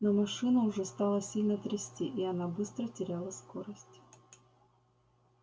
но машину уже стало сильно трясти и она быстро теряла скорость